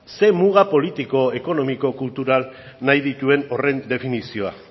ze muga politiko ekonomiko eta kultural nahi dituen horren definizioa